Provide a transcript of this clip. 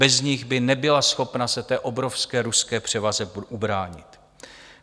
Bez nich by nebyla schopna se té obrovské ruské převaze ubránit.